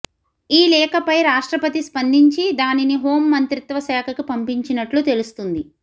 ఈ లేఖపై రాష్ట్రపతి స్పందించి దానిని హోం మంత్రిత్వ శాఖకి పంపించినట్లు తెలుస్తుంది